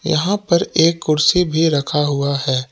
यहां पर एक कुर्सी भी रखा हुआ है।